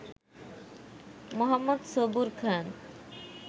মো. Sabur খান